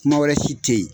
Kuma wɛrɛ si tɛ ye